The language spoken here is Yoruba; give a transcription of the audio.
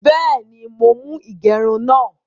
Bẹ́ẹ̀ni, mọ̀ mú igerún náà.